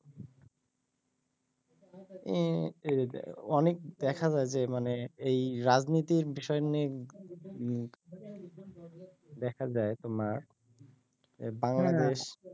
অ্যাঁ অনেক দেখা যায় যে মানে এই রাজনৈতিক বিষয় নিয়ে উম দেখা যায় তোমার বাংলাদেশ